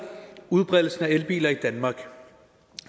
udbredelsen af elbiler i danmark